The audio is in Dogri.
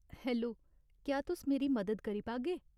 हैलो, क्या तुस मेरी मदद करी पागे ?